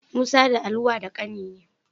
Musa da Ali wa da ƙani ne.